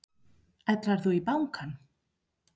Ætlarðu í bankann?